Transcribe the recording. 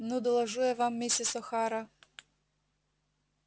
ну доложу я вам миссис охара